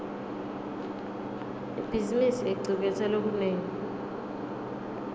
ibhizimisi icuketse lokunengi